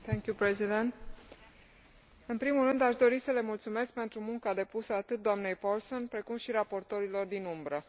Domnule președinte, în primul rând, aș dori să le mulțumesc pentru munca depusă atât doamnei Paulsen, precum și raportorilor din umbră.